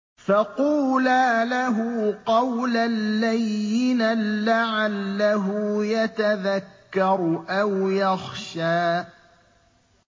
فَقُولَا لَهُ قَوْلًا لَّيِّنًا لَّعَلَّهُ يَتَذَكَّرُ أَوْ يَخْشَىٰ